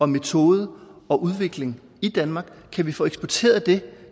metode og udvikling i danmark kan vi få eksporteret det